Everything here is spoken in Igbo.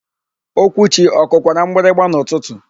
Okwuchi ọ kụkwara mgbịrịgba n'ụtụtụ?